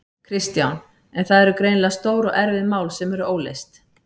Kristján: En það eru greinilega stór og erfið mál sem eru óleyst?